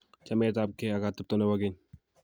Chametapkei ak atepto nebo keny